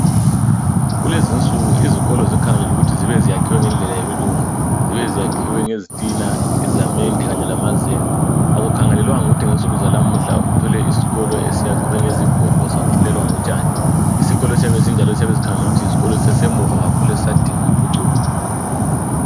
Kulezinsuku izikolo zikhangelele ukuthi zibe ziyakhiwe ngendlela yabelungu zibe ziyakhiwe ngezitina izamende kanye lamazenge akukhangelelwanga ukuthi ngensuku zanamuhla uthole isikolo esiyakhwe ngezigodo safulelwa ngotshani. Isikolo esiyabe esinjalo yisikolo esiyabe sisemuva kakhulu esiyabe sisadinga impucuko.